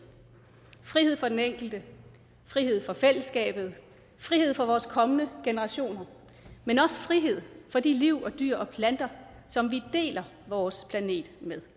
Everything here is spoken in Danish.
frihed for den enkelte frihed for fællesskabet frihed for vores kommende generationer men også frihed for de liv og dyr og planter som vi deler vores planet med